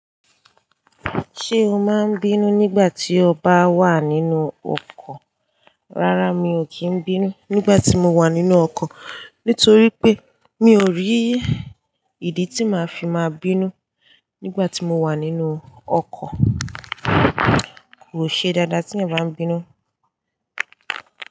Ṣé o máa ń bínú nígbà tí o bá wà nínú ọkọ̀? Rárá mi ò kí ń bínú nígbà tí mo wà nínú ọkọ̀. Nítorí pé mi ò rí ìdí tí màá fi máa bínú. Nígbà tí mo wà nínú ọkọ̀ kò ṣe dáadáa tí èèyàn bá ń bínú.